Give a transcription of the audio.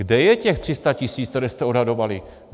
Kde je těch 300 tisíc, které jste odhadovali?